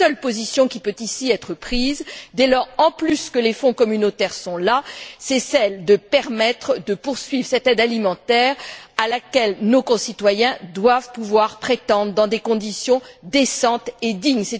La seule position qui puisse être prise ici d'autant plus que les fonds communautaires sont là, c'est de permettre la poursuite de cette aide alimentaire à laquelle nos concitoyens doivent pouvoir prétendre dans des conditions décentes et dignes.